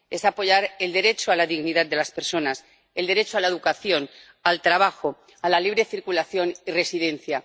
es apoyar el derecho a la dignidad de las personas, el derecho a la educación, al trabajo, a la libre circulación y residencia.